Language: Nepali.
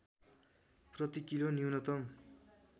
प्रति किलो न्यूनतम